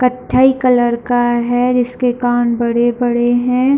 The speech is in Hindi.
कथई कलर का है जिस के कान बड़े-बड़े है।